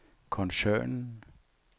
koncernen